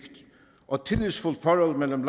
og tillidsfuldt forhold mellem